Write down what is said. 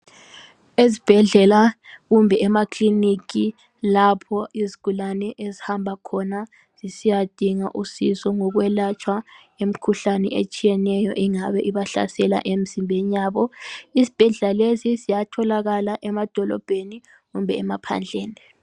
esibhedlela kumbe ema kilinika lapho izigulane ezihamba khona zisiyadinga usizizo ngokwelatshwa imikhuhlame etshiyeneyo engabe ibahlasela emzimbeni yabo izibhedlela lezi ziyatholkala emadolobheni kumbe emaphandleni